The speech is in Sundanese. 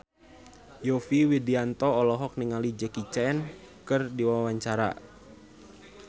Yovie Widianto olohok ningali Jackie Chan keur diwawancara